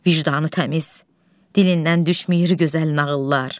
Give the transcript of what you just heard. Vicdanı təmiz, dilindən düşmür gözəl nağıllar.